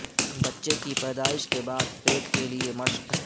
بچے کی پیدائش کے بعد پیٹ کے لئے مشق